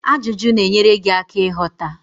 Ajụjụ na-enyere gị aka ịghọta